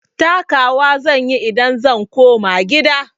Taka wa zan yi idan zan koma gida.